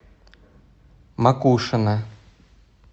макушино